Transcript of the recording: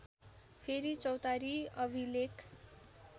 फेरी चौतारी अभिलेख